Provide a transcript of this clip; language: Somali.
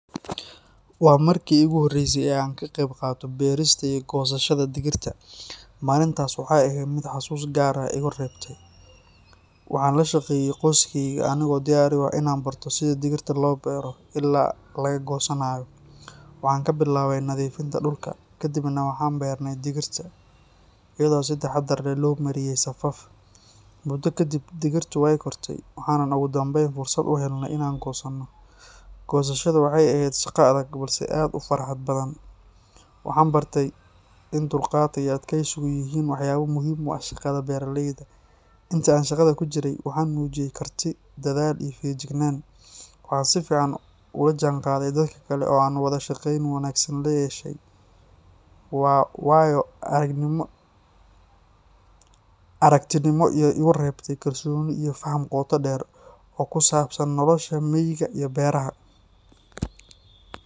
Waa markii iigu horreysay ee aan ka qayb qaato beerista iyo goosashada digirta. Maalintaas waxay ahayd mid xasuus gaar ah iiga reebtay. Waxaan la shaqeeyay qoyskayga anigoo diyaar u ah in aan barto sida digirta loo beero ilaa laga goosanayo. Waxaan ka bilaabay nadiifinta dhulka, kadibna waxaan beernay digirta iyadoo si taxaddar leh loo mariyay safaf. Muddo kadib, digirtu way kortay, waxaanan ugu dambeyn fursad u helnay in aan goosano. Goosashada waxay ahayd shaqo adag balse aad u farxad badan. Waxaan bartay in dulqaadka iyo adkaysigu yihiin waxyaabo muhiim u ah shaqada beeraleyda. Intii aan shaqada ku jiray, waxaan muujiyay karti, dadaal, iyo feejignaan. Waxaan si fiican ula jaanqaaday dadka kale oo aan wada shaqeyn wanaagsan la yeeshay. Waa waayo-aragnimo igu reebtay kalsooni iyo faham qoto dheer oo ku saabsan nolosha miyiga iyo beeraha